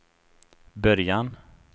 början